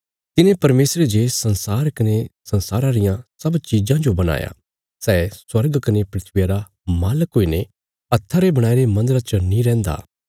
तिने परमेशरे जे संसार कने संसारा रियां सब चिज़ां जो बणाया सै स्वर्ग कने धरतिया रा मालक हुईने हत्था रे बणाईरे मन्दरा च नीं रैंहदा